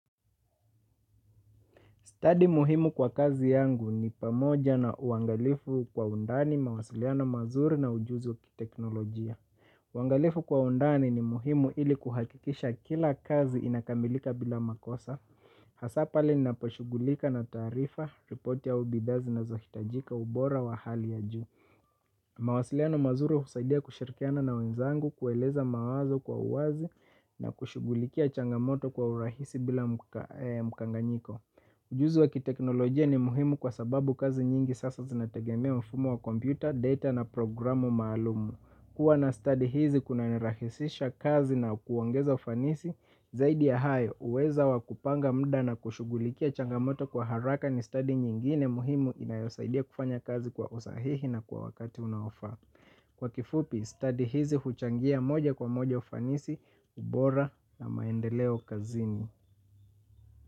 Study muhimu kwa kazi yangu ni pamoja na uangalifu kwa undani mawasiliano mazuri na ujuzi wakiteknolojia. Uangalifu kwa undani ni muhimu ili kuhakikisha kila kazi inakamilika bila makosa. Hasa pale ninaposhugulika na tarifa, ripoti au bidhaa zinazohitajika ubora wa hali ya juu. Mawasiliano mazuri usaidia kushirikiana na wenzangu kueleza mawazo kwa uwazi na kushugulikia changamoto kwa urahisi bila mukanganyiko. Ujuzi waki teknolojia ni muhimu kwa sababu kazi nyingi sasa zinategemea mfumo wa kompyuta, data na programu maalumu. Kuwa na study hizi kuna nirahisisha kazi na kuangeza ufanisi, zaidi ya hae uweza wakupanga mda na kushugulikia changamoto kwa haraka ni study nyingine muhimu inayosaidia kufanya kazi kwa usahihi na kwa wakati unaofa. Kwa kifupi, study hizi huchangia moja kwa moja ufanisi, ubora na maendeleo kazini.